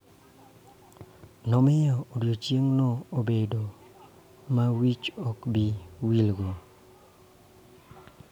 Ne omiyo odiechieng�no obedo ma wich ok bi wilgo.